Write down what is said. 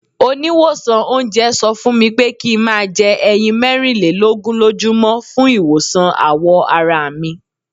Oníwòsàn oúnjẹ sọ fúnmi pé kí n máa jẹ ẹyin mẹ́rin lé lógún lójú mọ́ fún ìwòsàn àwọ̀ arami.